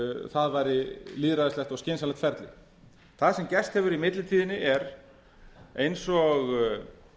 það væri lýðræðislegt og skynsamlegt ferli það sem gerst hefur í millitíðinni er eins og